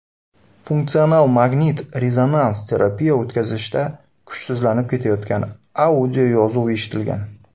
Funksional magnit-rezonans terapiya o‘tkazishda kuchsizlanib ketayotgan audioyozuv eshitilgan.